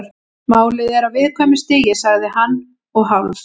Málið er á viðkvæmu stigi- sagði hann og hálf